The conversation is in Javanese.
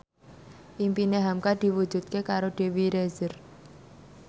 impine hamka diwujudke karo Dewi Rezer